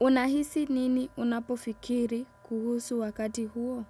unahisi nini unapofikiri kuhusu wakati huo?